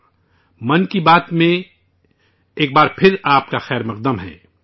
'من کی بات' میں آپ کا ایک بار پھر خیر مقدم ہے